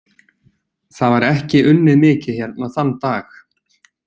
Það var ekki unnið mikið hérna þann dag.